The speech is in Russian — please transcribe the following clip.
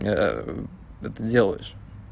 это делаешь